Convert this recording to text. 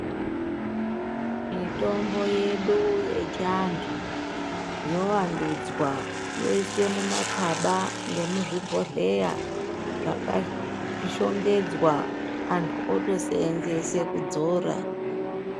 Mitombo yedu yechiantu yowandunzwa yoiswe mumakaba ngemuzvibhedhleya zvakashongedzwa antu otoseenzese kudzora.